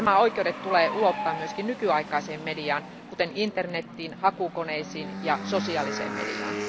Nämä oikeudet tulee ulottaa myös nykyaikaiseen mediaan, kuten internetiin, hakukoneisiin ja sosiaaliseen mediaan.